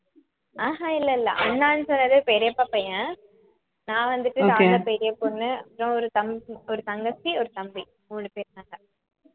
ஆஹ் அஹ் இல்லை இல்லை அண்ணான்னு சொன்னது பெரியப்பா பையன் நான் வந்துட்டு நான் தான் பெரிய பொண்ணு அப்புறம் ஒரு தம்~ ஒரு தங்கச்சி ஒரு தம்பி மூணு பேர் நாங்க